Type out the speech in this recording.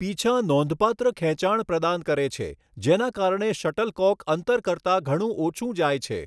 પીંછાં નોંધપાત્ર ખેંચાણ પ્રદાન કરે છે, જેના કારણે શટલકોક અંતર કરતાં ઘણું ઓછું જાય છે.